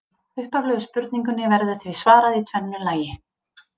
Upphaflegu spurningunni verður því svarað í tvennu lagi.